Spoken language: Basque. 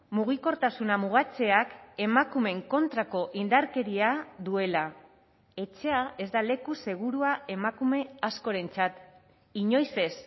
mugikortasuna mugatzeak emakumeen kontrako indarkeria duela etxea ez da leku segurua emakume askorentzat inoiz ez